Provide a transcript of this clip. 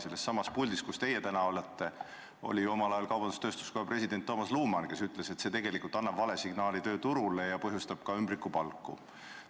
Sellessamas puldis, kus teie täna olete, oli omal ajal kaubandus-tööstuskoja juhatuse esimees Toomas Luman, kes ütles, et see annab vale signaali tööturule ja põhjustab ka ümbrikupalku.